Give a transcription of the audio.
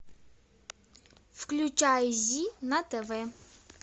включай зи на тв